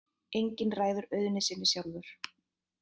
Enginn ræður auðnu sinni sjálfur.